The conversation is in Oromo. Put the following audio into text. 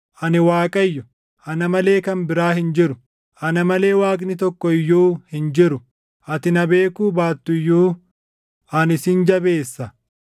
Ani Waaqayyo; ana malee kan biraa hin jiru; ana malee Waaqni tokko iyyuu hin jiru. Ati na beekuu baattu iyyuu, ani sin jabeessa;